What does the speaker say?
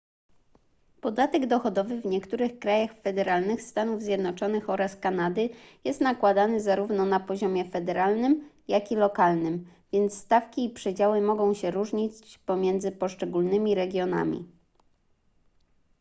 podatek dochodowy w niektórych krajach federalnych stanów zjednoczonych oraz kanady jest nakładany zarówno na poziomie federalnym jak i lokalnym więc stawki i przedziały mogą się różnić pomiędzy poszczególnymi regionami